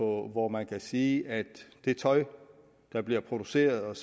hvor man kan sige at det tøj der bliver produceret